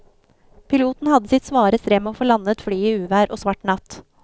Piloten hadde sitt svare strev med å få landet flyet i uvær og svart natt.